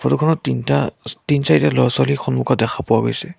Photo খনত তিনিটা ছ তিনি-চাৰিটা ল'ৰা-ছোৱালী সন্মুখত দেখা পোৱা গৈছে।